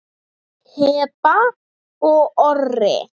Heba og Orri.